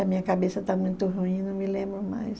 A minha cabeça está muito ruim, eu não me lembro mais.